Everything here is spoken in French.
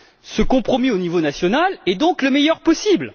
Ce compromis au niveau national est donc le meilleur possible.